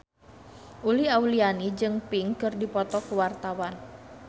Uli Auliani jeung Pink keur dipoto ku wartawan